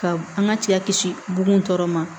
Ka an ka cɛya kisi bon tɔ ma